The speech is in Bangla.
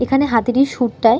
এখানে হাতির এই সুর টায়--